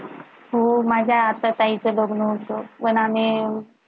हो माझ्या आता ताईच लग्न होत पण आम्ही